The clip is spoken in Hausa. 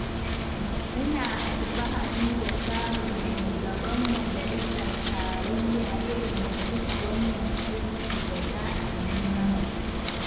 Muna alfahari da samun shugaban majalisar tarayya irin ka bisa wannan aiki da za a yi mana.